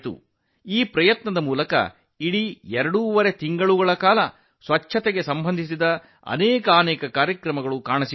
ಈ ಪ್ರಯತ್ನದ ಸಮಯದಲ್ಲಿ ಇಡೀ ಎರಡೂವರೆ ತಿಂಗಳ ಕಾಲ ಅನೇಕ ಸ್ವಚ್ಛತೆಗೆ ಸಂಬಂಧಿಸಿದ ಕಾರ್ಯಕ್ರಮಗಳು ಕಂಡುಬಂದವು